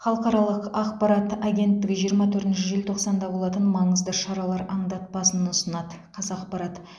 халықаралық ақпарат агенттігі жиырма төртінші желтоқсанда болатын маңызды шаралар аңдатпасын ұсынады қазақпарат